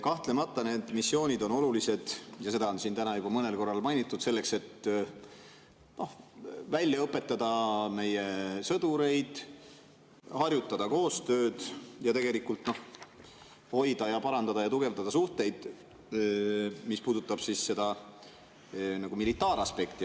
Kahtlemata need missioonid on olulised – seda on siin täna juba mõnel korral mainitud – selleks, et välja õpetada meie sõdureid, harjutada koostööd, hoida ja parandada ja tugevdada suhteid, mis puudutab seda militaaraspekti.